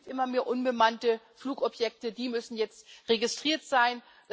Es gibt immer mehr unbemannte Flugobjekte, die müssen jetzt registriert sein.